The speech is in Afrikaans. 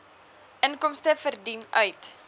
inkomste verdien uit